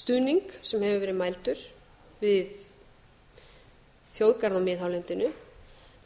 stuðning sem hefur verið mældur við þjóðgarð á miðhálendinu